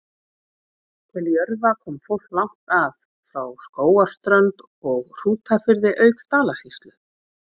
Til Jörfa kom fólk langt að, frá Skógarströnd og Hrútafirði auk Dalasýslu.